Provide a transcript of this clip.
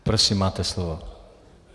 Prosím máte slovo.